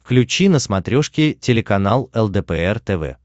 включи на смотрешке телеканал лдпр тв